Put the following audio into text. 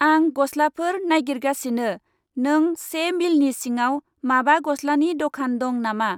आंं गसलाफोर नायगिरगासिनो । नों से मिलनि सिङाव माबा गसलानि दखान दं नामा?